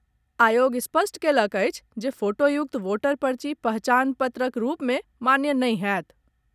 आयोग स्पष्ट कयलक अछि जे फोटोयुक्त वोटर पर्ची पहचान पत्रक रूप मे मान्य नहि होयत।